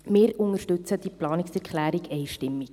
Wir unterstützen diese Planungserklärung einstimmig.